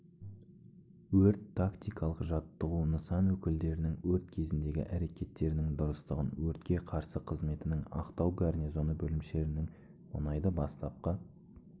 өрт-тактикалық жаттығу нысан өкілдерінің өрт кезіндегі әрекеттерінің дұрыстығын өртке қарсы қызметінің ақтау гарнизоны бөлімшелерінің мұнайды бастапқы